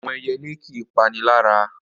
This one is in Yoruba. Àwọn ẹyelé kì í panilára.